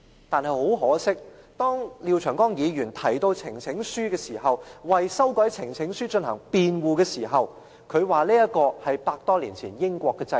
但是，很可惜，當廖長江議員提到呈請書時，為修改有關呈請書的規定進行辯護時，他說這是100多年前英國的制度。